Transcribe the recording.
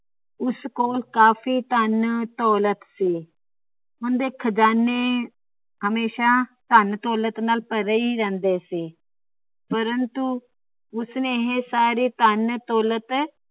ਉਸ ਕੋਲ ਕਾਫੀ ਧੰਨ ਦੌਲਤ ਸੀ। ਉਂਦੇ ਖਜਾਨੇ ਹਮੇਸ਼ਾਂ ਧੰਨ ਦੌਲਤ ਨਾਲ ਭਰੇ ਹੀ ਰਹਿੰਦੇ ਸੀ। ਪ੍ਰੰਤੂ ਉਸ ਨੇ ਇਹ ਸੱਰੀ ਧੰਨ ਦੌਲਤ